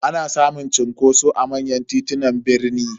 Ana samun cunkoso a manyan titunan birni.